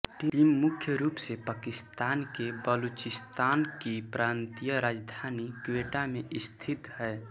team मुख्य रूप से पाकिस्तान के बलूचिस्तान की प्रांतीय राजधानी क्वेटा में स्थित है